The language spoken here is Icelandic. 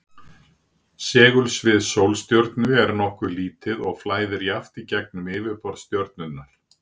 Segulsvið sólstjörnu er nokkuð lítið og flæðir jafnt í gegnum yfirborð stjörnunnar.